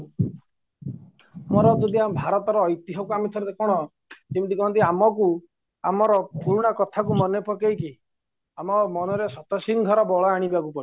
ଆମର ଯଦି ଆମର ଭାରତର ଐତିହ ଆମେ ଥରେ କ'ଣ ଯେମିତିକହନ୍ତି ଆମକୁ ଆମର ପୁରୁଣା କଥାକୁ ମାନେ ପକେଇକି ଆମ ମନରେ ଶତସିଂହର ବଳ ଆଣିବାକୁ ପଡିବ